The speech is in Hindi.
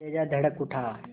कलेजा धड़क उठा